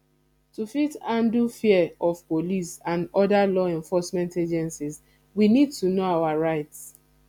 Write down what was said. to fit handle fear of police and oda law enforcement agencies we need to know our rights